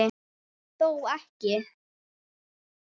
Þó ekki?